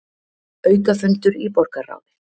Aukafundur í borgarráði